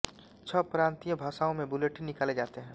छह प्रांतीय भाषाओं में बुलेटिन निकाले जाते हैं